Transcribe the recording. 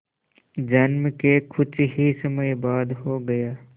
जन्म के कुछ ही समय बाद हो गया